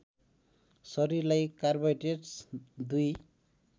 शरीरलाई कार्बोहाइड्रेट्स दुई